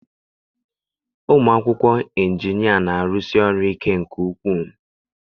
Ụmụ akwụkwọ injinia na-arụsi ọrụ ike nke ukwuu.